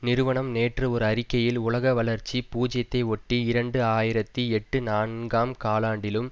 நிறுவனம் நேற்று ஒரு அறிக்கையில் உலக வளர்ச்சி பூஜ்யத்தை ஒட்டி இரண்டு ஆயிரத்தி எட்டு நான்காம் காலாண்டிலும்